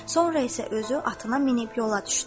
Sonra isə özü atına minib yola düşdü.